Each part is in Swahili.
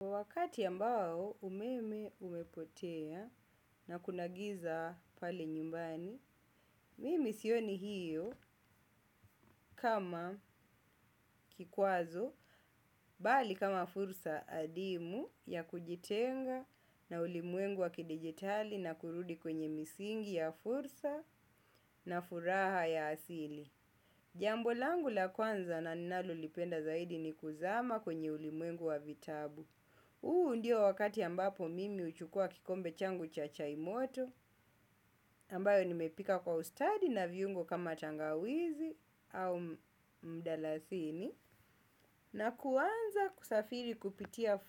Wakati ambao umeme umepotea na kuna giza pale nyumbani, mimi sioni hiyo kama kikwazo, bali kama fursa adimu ya kujitenga na ulimuengu wa kidigitali na kurudi kwenye misingi ya fursa na furaha ya asili. Jambo langu la kwanza na na ninalo lipenda zaidi ni kuzama kwenye ulimwengu wa vitabu. Huu ndio wakati ambapo mimi huchukua kikombe changu cha chai moto, ambayo nimepika kwa ustadi na viungo kama tangawizi au mdalasini, na kuanza kusafiri kupitia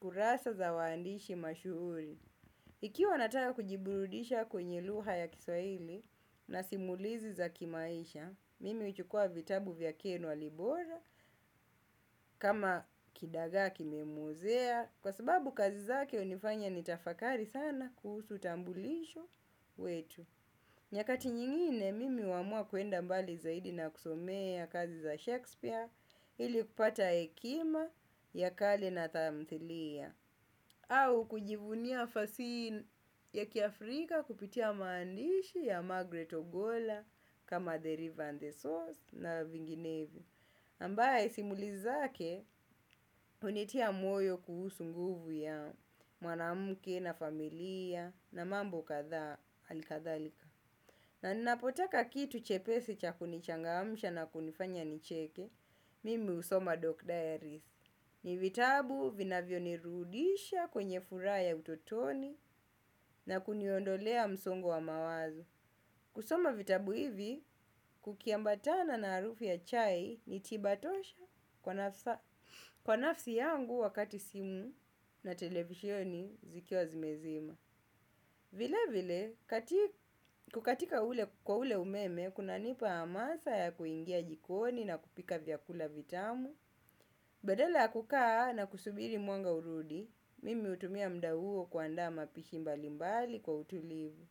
kurasa za waandishi mashuhuri. Ikiwa nataka kujiburudisha kwenye lugha ya kiswahili na simulizi za kimaisha, mimi huchukua vitabu vya ken walibora kama kidagaa kimemuzea kwa sababu kazi zake hunifanya nitafakari sana kuhusu utambulisho wetu. Nyakati nyingine mimi huamua kuwenda mbali zaidi na kusomea kazi za Shakespeare ili kupata hekima ya kali na tamthilia au kujivunia fasihi ya kiafrika kupitia maandishi ya Margaret Ogola kama The River and the Source na vinginevyo. Ambaye simuli zake hunitia moyo kuhusu nguvu ya mwanamke na familia na mambo kadhaa alikadhalika. Na ninapotaka kitu chepesi cha kunichangamsha na kunifanya nicheke mimi husoma doc diaries. Ni vitabu vinavyo nirudisha kwenye furaha utotoni na kuniondolea msongo wa mawazo. Kusoma vitabu hivi, kuki ambatana na harufu ya chai ni tiba tosha kwa nafsi yangu wakati simu na televisioni zikiwa zimezima. Vilevile kukatika kwa ule umeme kunanipa hamasa ya kuingia jikoni na kupika vyakula vitamu. Badala ya kukaa na kusubiri mwanga urudi, mimi hutumia mda huo kuandaa ma pishi mbalimbali kwa utulivu.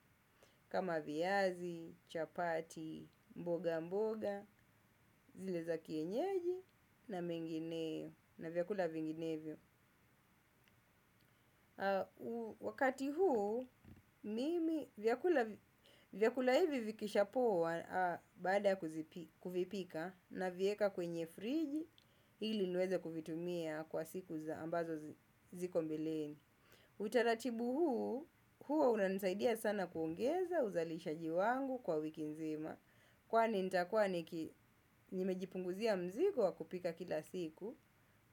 Kama viazi, chapati, mboga mboga, zile za kienyeji na mengineyo na vyakula vinginevyo. Wakati huu, mimi vyakula hivi vikisha poa baada ku vipika na vieka kwenye friji ili niweza kuvitumia kwa siku za ambazo ziko mbeleni. Utaratibu huu, huwa unanisaidia sana kuongeza uzalishaji wangu kwa wiki nzima. Kwani nitakuwa niki nimejipunguzia mzigo wa kupika kila siku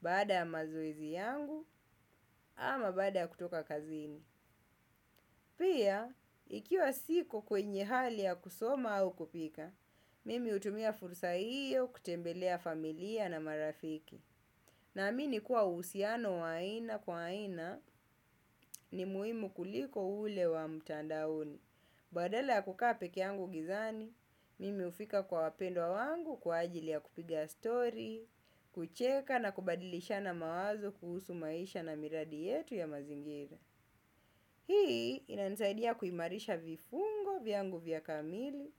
baada ya mazoezi yangu ama baada ya kutoka kazini. Pia, ikiwa siko kwenye hali ya kusoma au kupika, mimi hutumia fursa hiyo kutembelea familia na marafiki. Naamini kuwa uhusiano wa aina kwa aina ni muhimu kuliko ule wa mtandaoni. Badala ya kukaa peke yangu gizani, mimi hufika kwa wapendwa wangu kwa ajili ya kupiga story, kucheka na kubadilishana mawazo kuhusu maisha na miradi yetu ya mazingira. Hii inanisaidia kuimarisha viungo vyangu vya kamili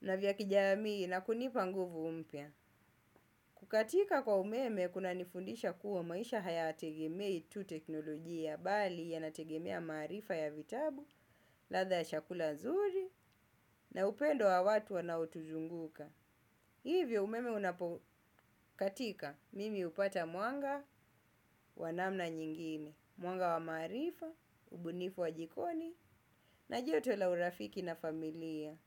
na vya kijamii na kunipa nguvu mpya kukatika kwa umeme kunanifundisha kua maisha haya tegemei tu teknolojia bali yana tegemea maarifa ya vitabu, ladha ya chakula nzuri na upendo wa watu wanao tuzunguka kukatika kwa umeme kunanifundisha kua maisha haya tegemei tu teknolojia bali yanategemea maarifa ya vitabu ladha ya chakula nzuri na upendo wa watu wanao tuzunguka.